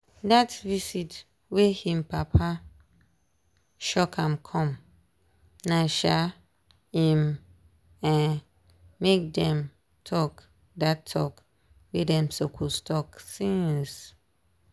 dat visit wey him papa shock am come na um im um make dem talk dat talk wey dem suppose talk since.